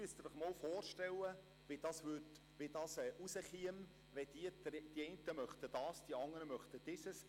Sie müssen sich einmal vorstellen, wie es herauskäme, wenn die einen dieses und die anderen jenes möchten.